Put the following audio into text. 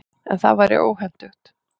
En það væri óhentugt.